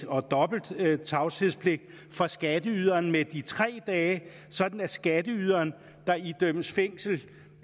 og dobbelt tavshedspligt for skatteyderen med de tre dage sådan at skatteyderen der idømmes fængsel